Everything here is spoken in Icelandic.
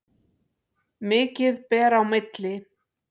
Mikið ber á milli.